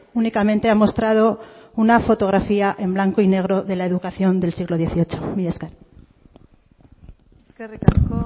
únicamente ha mostrado una fotografía en blanco y negro de la educación del siglo dieciocho mila esker eskerrik asko